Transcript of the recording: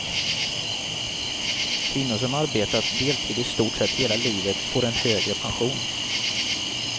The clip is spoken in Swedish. Kvinnor som arbetat deltid i stort sett hela livet får en högre pension.